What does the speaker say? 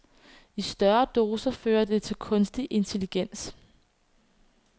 I større doser fører det til kunstig intelligens.